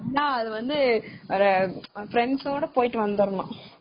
அதுவந்து friends ஓட போயிடு வந்துரனும்.